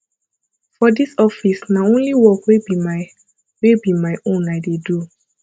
for dis office na only work wey be my wey be my own i dey do